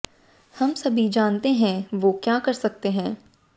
हम सभी जानते हैं वो क्या कर सकते हैं